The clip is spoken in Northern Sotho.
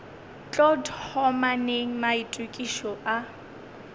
tlo thoma neng maitokišo a